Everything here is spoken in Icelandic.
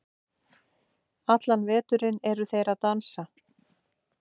allan veturinn eru þeir að dansa